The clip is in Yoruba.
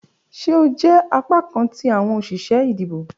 Ṣe o jẹ apakan ti awọn oṣiṣẹ idibo?